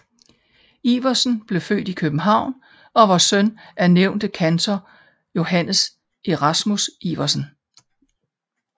Iversen blev født i København og var søn af nævnte kantor Johannes Erasmus Iversen